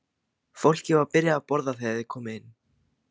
Fólkið var byrjað að borða þegar þeir komu inn.